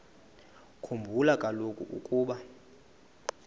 khumbula kaloku ukuba